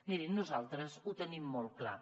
mirin nosaltres ho tenim molt clar